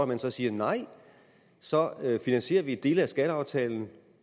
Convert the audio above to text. man siger nej så finansierer vi dele af skatteaftalen